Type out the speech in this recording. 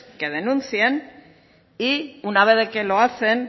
que denuncien y una vez de que lo hacen